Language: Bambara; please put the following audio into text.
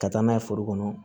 Ka taa n'a ye foro kɔnɔ